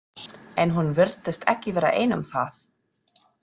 En hún virtist ekki vera ein um það.